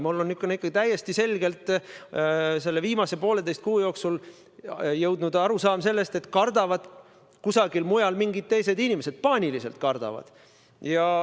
Ma olen ikkagi täiesti selgelt selle viimase pooleteise kuu jooksul jõudnud arusaamale, et kardavad kusagil mujal mingid teised inimesed, ja paaniliselt kardavad.